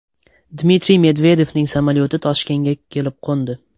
Dmitriy Medvedevning samolyoti Toshkentga kelib qo‘ndi.